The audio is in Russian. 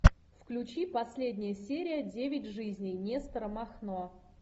включи последняя серия девять жизней нестора махно